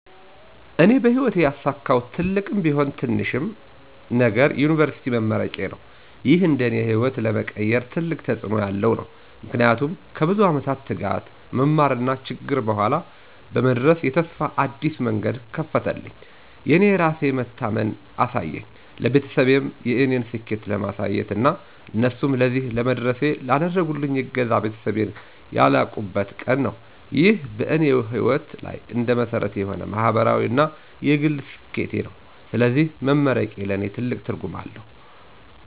እኔ በሕይወቴ ያሳካሁት ትልቅም ቢሆን ትንሽም ነገር የዩኒቨርሲቲ መመረቄዬ ነው። ይህ እንደ እኔ ሕይወት ለመቀየር ትልቅ ተጽእኖ ያለው ነው። ምክንያቱም ከብዙ ዓመት ትጋት፣ መማርና ችግር በኋላ በመድረስ የተስፋ አዲስ መንገድ ከፈተልኝ። የእኔ የራሴን መታመን አሳየኝ፣ ለቤተሰቤም የእኔን ስኬት ለማሳየት እና እነሱንም ለዚህ ለመድረሴ ላደረጉልኝ እገዛ ቤተሰቤን ያላቁበት ቀን ነው። ይህ በእኔ ሕይወት ላይ እንደ መሰረት የሆነ ማህበራዊ እና የግል ስኬቴ ነው። ስለዚህ መመረቄ ለእኔ ትልቅ ትርጉም አለው።